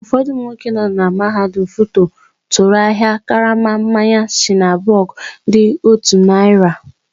Ụfọdụ ụmụ nwoke nọ na mahadum FUTO tụrụ ahịa karama mmanya shiner bock dị otú narị.